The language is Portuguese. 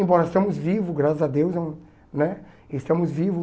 Embora estamos vivo, graças a Deus né, estamos vivo.